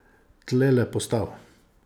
Tlele postav!